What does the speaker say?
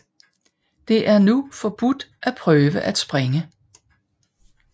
Det er nu forbudt at prøve at springe